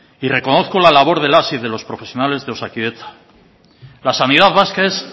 y reconozco la labor de las y de los profesionales de osakidetza la sanidad vasca es